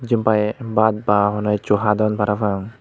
jenpai baat ba hono hissu hadon parapang.